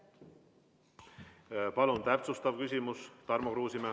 Palun, täpsustav küsimus, Tarmo Kruusimäe.